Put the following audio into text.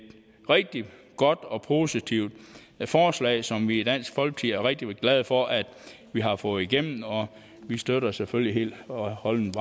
rigtig godt og positivt forslag som vi i dansk folkeparti er rigtig glade for at vi har fået igennem vi støtter det selvfølgelig helt og holdent